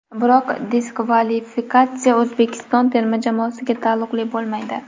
Biroq diskvalifikatsiya O‘zbekiston terma jamoasiga taalluqli bo‘lmaydi.